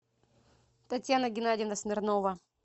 татьяна геннадьевна смирнова